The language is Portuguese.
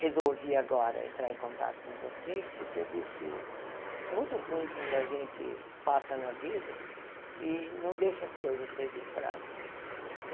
Resolvi agora entrar em contato com vocês porque eu disse, é muito ruim quando a gente passa na vida e não deixa as coisas registradas.